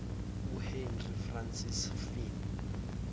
uhenry francis fynn